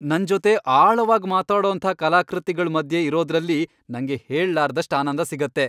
ನನ್ ಜೊತೆ ಆಳವಾಗ್ ಮಾತಾಡೋಂಥ ಕಲಾಕೃತಿಗಳ್ ಮಧ್ಯೆ ಇರೋದ್ರಲ್ಲಿ ನಂಗೆ ಹೇಳ್ಲಾರದಷ್ಟ್ ಆನಂದ ಸಿಗತ್ತೆ.